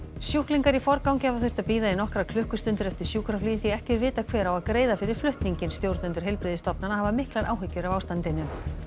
sjúklingar í forgangi hafa þurft að bíða í nokkrar klukkustundir eftir sjúkraflugi því ekki er vitað hver á að greiða fyrir flutninginn stjórnendur heilbrigðisstofnana hafa miklar áhyggjur af ástandinu